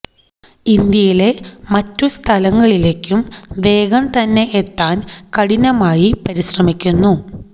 ഇന്ത്യയിലെ മറ്റു സ്ഥലങ്ങളിലേക്കും വേഗം തന്നെ എത്താൻ കഠിനമായി പരിശ്രമിക്കുന്നു